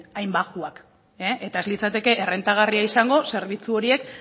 hain baxuak eta ez litzateke errentagarria izango zerbitzu horiek